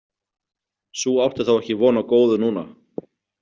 Sú átti þá ekki von á góðu núna.